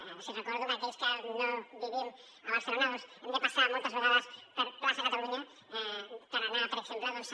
els hi recordo que aquells que no vivim a barcelona doncs hem de passar moltes vegades per plaça catalunya per anar per exemple a